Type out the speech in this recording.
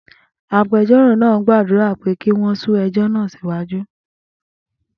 Agbẹjọ́rò náà gbàdúrà pé kí wọ́n sún ẹjọ́ náà síwájú.